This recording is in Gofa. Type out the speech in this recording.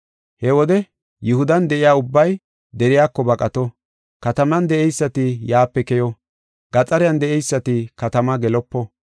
He wode Yihudan de7iya ubbay deriyako baqato, kataman de7eysati yaape keyo, gaxariyan de7eysati katama gelopo.